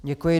Děkuji.